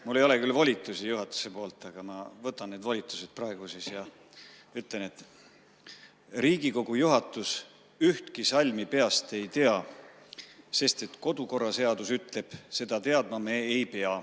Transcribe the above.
Mul ei ole küll volitusi juhatuselt, aga ma võtan siis need volitused praegu ja ütlen nii: Riigikogu juhatus ühtki salmi peast ei tea, sest kodukorraseadus ütleb: seda teadma me ei pea.